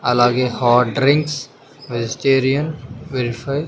అలాగే hot drinks vegetarian verify --